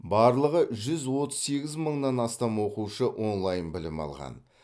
барлығы жүз отыз сегіз мыңнан астам оқушы онлайн білім алған